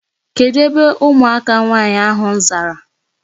Kedụ ebe ụmụaka nwaanyị ahụ zara?